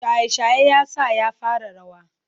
Shaye-shaye ya sa ya fara rawa.